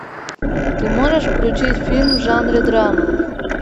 ты можешь включить фильм в жанре драма